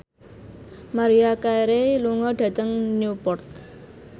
Maria Carey lunga dhateng Newport